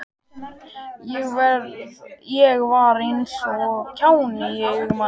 Ég var eins og kjáni í augum hans.